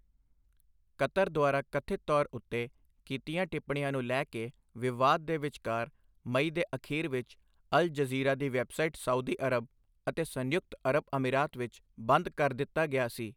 Qatar ਦੁਆਰਾ ਕਥਿਤ ਤੌਰ ਉੱਤੇ ਕੀਤੀਆਂ ਟਿੱਪਣੀਆਂ ਨੂੰ ਲੈ ਕੇ ਵਿਵਾਦ ਦੇ ਵਿਚਕਾਰ ਮਈ ਦੇ ਅਖੀਰ ਵਿੱਚ ਅਲ ਜਜ਼ੀਰਾ ਦੀ ਵੈੱਬਸਾਈਟ ਸਾਊਦੀ ਅਰਬ ਅਤੇ ਸੰਯੁਕਤ ਅਰਬ ਅਮੀਰਾਤ ਵਿੱਚ ਬੰਦ ਕਰ ਦਿੱਤਾ ਗਿਆ ਸੀ।